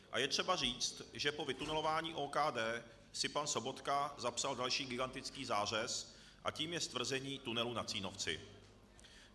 A je třeba říct, že po vytunelování OKD si pan Sobotka zapsal další gigantický zářez, a tím je stvrzení tunelu na Cínovci.